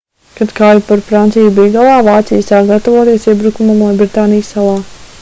kad kauja par franciju bija galā vācija sāka gatavoties iebrukumam lielbritānijas salā